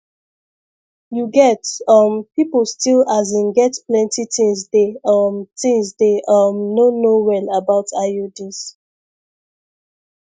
you get um people still asin get plenty things dey um things dey um no know well about iuds